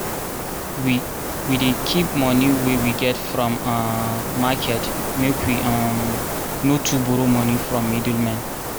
we we dey keep moni wey we get from um market make we um no too borrow from middlemen.